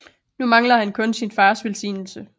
Nu mangler han kun sin fars velsignelse